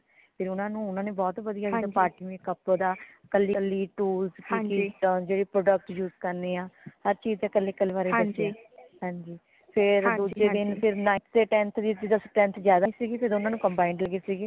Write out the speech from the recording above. ਫੇਰ ਊਨਾ ਨੇ ਓਨਾ ਨੂ ਬਹੁਤ ਵਧੀਆ ਜਿਦਾ party makeup ਦਾ ਕਲੀ ਕਲੀ tools ਦਾਜੇਡੇ product use ਕਰਨੇ ਹਾਂ ਹਰ ਚੀਜ਼ ਦੇ ਕਲੇ ਕਲੇ ਬਾਰੇ ਦਸਿਆ ਹਾਂਜੀ ਫੇਰ ਦੂਜੇ ਦਿਨ ਫੇਰ ninth ਤੇ tenth ਦੀ strength ਜਿਆਦਾ ਸੀਗੀ ਫੇਰ ਓਨਾ ਨੂ combined ਦਿਤੀ ਸੀਗੀ